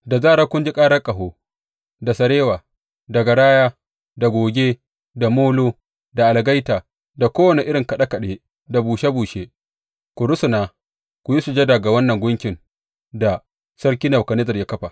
Da zarar kuka ji karar ƙaho, da sarewa, da garaya da goge da molo da algaita da kowane irin kaɗe kaɗe da bushe bushe ku rusuna ku yi sujada ga wannan gunkin da sarki Nebukadnezzar ya kafa.